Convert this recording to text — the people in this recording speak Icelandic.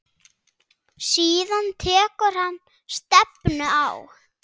Síðan tekur hann stefnu á